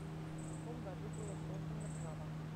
в каком году было создано джава